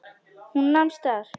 Hún nam staðar.